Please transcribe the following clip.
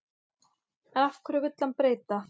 En hverju vill hann breyta?